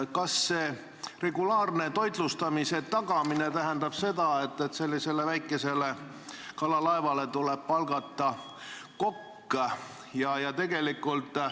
Kas see regulaarse toitlustamise tagamine tähendab, et väikesele kalalaevale tuleb palgata kokk?